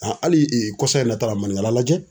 hali kɔsan in na ta la maninkala lajɛ.